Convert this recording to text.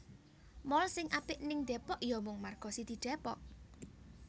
Mall sing apik ning Depok yo mung Margo City Depok